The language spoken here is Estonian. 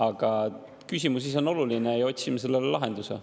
Aga küsimus ise on oluline ja otsime sellele lahenduse.